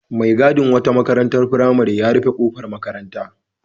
Mai gadin wata makarantar firamare ya rufe ƙofar makaranta.